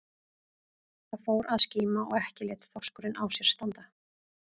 Það fór að skíma og ekki lét þorskurinn á sér standa.